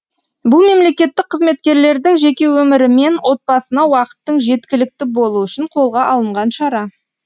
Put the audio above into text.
бұл мемлекеттік қызметкерлердің жеке өмірі мен отбасына уақыттың жеткілікті болуы үшін қолға алынған шара